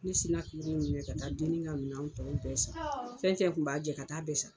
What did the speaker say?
Ne sina ka ka taa dennin ka minɛnw tɔ bɛɛ san. Fɛn fɛn kun b'a jɛ ka taa bɛɛ san.